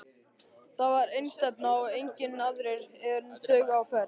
Þar var einstefna og engir aðrir en þau á ferð.